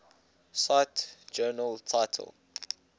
cite journal title